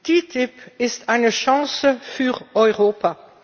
Die TTIP ist eine Chance für Europa.